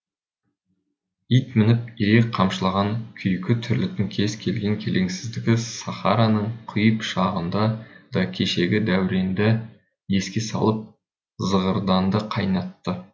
ит мініп ирек қамшылаған күйкі тірліктің кез келген келеңсіздігі сахараның қай пұшпағында да кешегі дәуренді еске салып зығырданды қайнатты